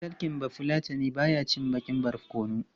Ɗan talking Bafulatani ba ya cin baƙar barkono.